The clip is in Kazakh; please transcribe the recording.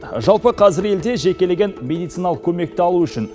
жалпы қазір елде жекелеген медициналық көмекті алу үшін